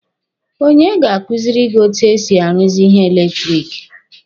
Onye ga-kuziri gị etu e si aruzi ihe eletiriki?